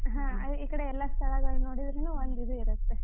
ಹಾ ಈ ಕಡೆ ಎಲ್ಲಾ ಸ್ಥಳಗಳನ್ ನೋಡಿದ್ರೂನೂ ಒಂದು ಇದು ಇರುತ್ತೆ.